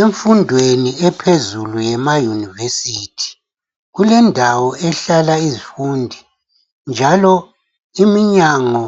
Imfundo yenu ephezulu yema univesithi, kule ndawo ehlala izifundi njalo iminyango